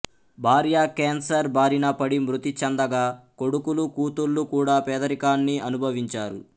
భార్య కేన్సర్ బారిన పడి మృతి చెందగా కొడుకులు కూతుళ్లు కూడా పేదరికాన్ని అనుభవించారు